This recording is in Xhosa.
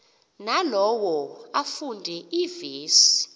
nalowo afunde iivesi